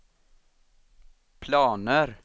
planer